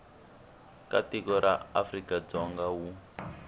wa tiko ra afrikadzonga wu